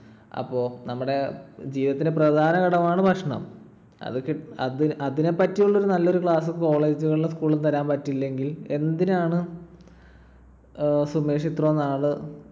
അപ്പൊ നമ്മുടെ ജീവിതത്തിലെ പ്രധാന ഘടകമാണ് ഭക്ഷണം. അതു കി ~അതിനെപ്പറ്റി ഉള്ളൊരു നല്ലൊരു class, college കളും school ഉം തരാൻ പറ്റിയില്ലെങ്കിൽ എന്തിനാണ് സുമേഷ് ഇത്രോം നാൾ